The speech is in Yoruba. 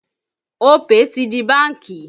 Opay ti di bánkì